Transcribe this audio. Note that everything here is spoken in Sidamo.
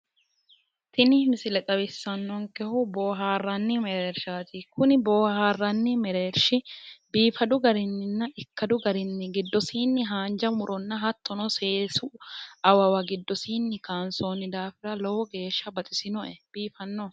tini misile xawissannonkehu boohaarranni mereershaati kuni boohaarranni mereershi biifadu garinninna ikkadu garinni giddosiinni haanja muronna hattono seesu awawa giddosiinni kaansoonni daafira lowo geeshsha baxisinoe biifannoho.